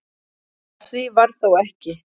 Af því varð þó ekki.